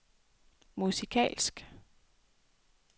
musikalsk